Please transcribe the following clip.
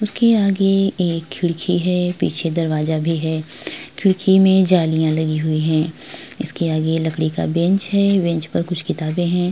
इसके आगे एक खिड़की है पीछे दरवाजा भी है खिड़की में जालियां लगी हुई है इसके आगे लकड़ी का बेंच है बेंच पे कुछ किताबे है।